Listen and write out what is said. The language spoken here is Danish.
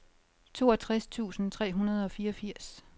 toogtres tusind tre hundrede og fireogfirs